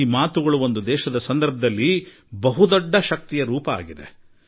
ಈ ಸಂಗತಿಗಳೆಲ್ಲಾ ಯಾವುದೇ ದೇಶಕ್ಕೆ ಬಹುದೊಡ್ಡ ಶಕ್ತಿಯ ಸ್ವರೂಪವಾಗಿದೆ